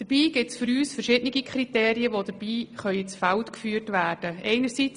Für uns gibt es dabei verschiedene Kriterien, die ins Feld geführt werden können.